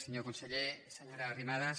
senyor conseller se·nyora arrimadas